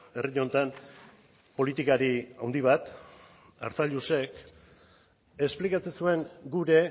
herri honetan politikari handi bat arzallusek esplikatzen zuen gure